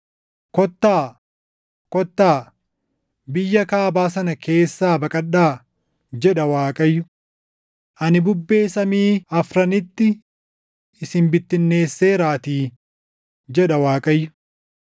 “Kottaa! Kottaa! Biyya kaabaa sana keessaa baqadhaa” jedha Waaqayyo; “Ani bubbee samii afranitti isin bittinneesseeraatii” jedha Waaqayyo.